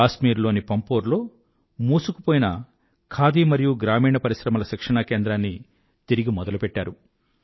కాశ్మీరు లోని పంపోర్ లో మూసుకుపోయిన ఖాదీ మరియు గ్రామీణ పరిశ్రమల శిక్షణా కేంద్రాన్ని తిరిగి మొదలుపెట్టారు